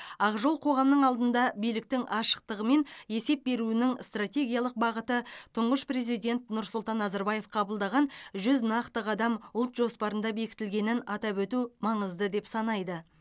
ақ жол қоғамның алдында биліктің ашықтығы мен есеп беруінің стратегиялық бағыты тұңғыш президент нұрсұлтан назарбаев қабылдаған жүз нақты қадам ұлт жоспарында бекітілгенін атап өту маңызды деп санайды